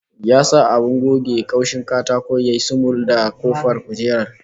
Ya sa abin goge kaushin katako ya yi sumul da kafar kujerar